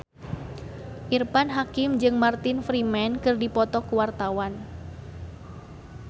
Irfan Hakim jeung Martin Freeman keur dipoto ku wartawan